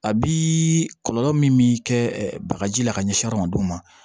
A bi kɔlɔlɔ min kɛ bagaji la ka ɲɛsin adamadenw ma